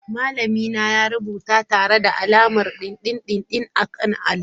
Malamina ya rubuta tare da alamar dindindin a kan allo.